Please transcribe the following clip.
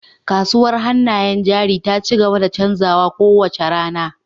Kasuwar hannayen jari ta ci gaba da canzawa kowace rana